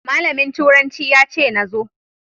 Malamin turanci ya ce na zo.